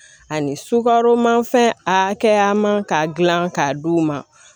Ani sukaroman fɛn a hakɛya man k'a dilan k'a d'u ma